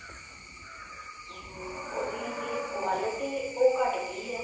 ਅਮ ਉਹਦੀ ਜਿਹੜੀ quality ਉਹ ਘੱਟ ਗਈ ਹੈ